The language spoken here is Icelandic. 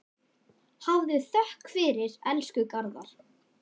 Hafðu þökk fyrir, elsku Garðar.